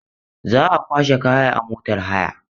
Za a kwashe kaya a motar haya.